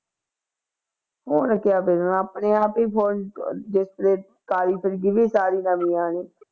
ਹੁਣ ਕਿਆ ਕਰਨਾ ਆਪਣੇ ਆਪ ਹੀ phone display ਨਵੀਂ ਆਉਣੀ